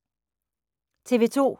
TV 2